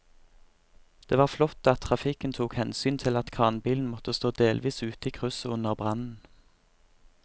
Det var flott at trafikken tok hensyn til at kranbilen måtte stå delvis ute i krysset under brannen.